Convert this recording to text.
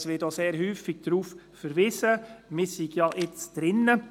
Es wird denn auch sehr oft darauf verwiesen, man arbeite daran.